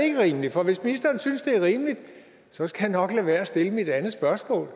ikke rimeligt for hvis ministeren synes det er rimeligt så skal jeg nok lade være med at stille mit andet spørgsmål